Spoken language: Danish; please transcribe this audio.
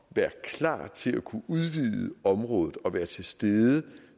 være klar til at kunne udvide området og være til stede